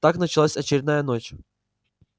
так началась очередная ночь